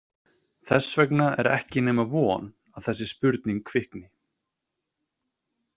Þess vegna er ekki nema von að þessi spurning kvikni.